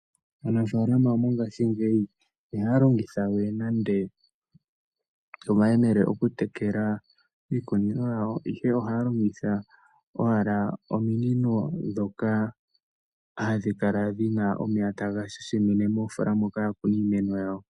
Aanafaalama mongashingeyi iha ya longitha we nande omayemele oku tekela iikunino yawo. Ihe oha ya longitha owala ominino dhoka hadhi kala dhina omeya taga shashimine moofoola moka ya kuna iimeno yawo.